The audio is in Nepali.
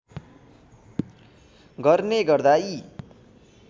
गर्ने गर्दा यी